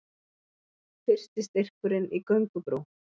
Fyrsti styrkurinn í göngubrú